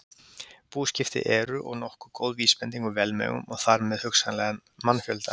Búskipti eru og nokkuð góð vísbending um velmegun og þar með hugsanlega mannfjölda.